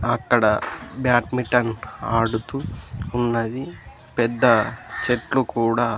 అక్కడ బ్యాట్మింటన్ ఆడుతూ ఉన్నది పెద్ద చెట్లు కూడా.